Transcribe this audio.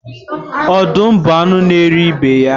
Ọdụm bụ anu na eri ibe ya